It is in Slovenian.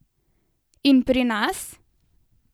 In pri nas?